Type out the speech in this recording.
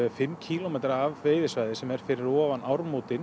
fimm kílómetra af veiðisvæði sem er fyrir ofan